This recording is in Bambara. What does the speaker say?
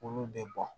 Olu de bɔn